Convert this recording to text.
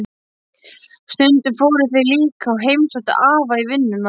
Stundum fóru þeir líka og heimsóttu afa í vinnuna.